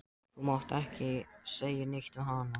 Þú mátt ekki segja neitt við hana.